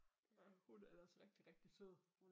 Ja hun er ellers rigtig rigtig sød